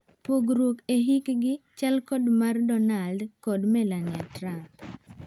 Pogruok e hiikgi chal kod mar Donald kod Melania Trump.